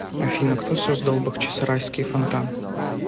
афина кто создал бахчисарайский фонтан